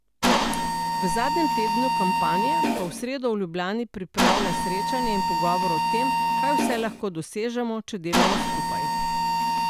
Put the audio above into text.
V zadnjem tednu kampanje pa v sredo v Ljubljani pripravlja srečanje in pogovor o tem, kaj vse lahko dosežemo, če delamo skupaj.